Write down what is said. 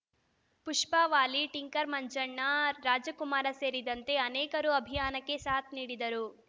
Pushpa Vali tinker Manjanna Ramakumar ಸೇರಿದಂತೆ ಅನೇಕರು ಅಭಿಯಾನಕ್ಕೆ ಸಾಥ್‌ ನೀಡಿದರು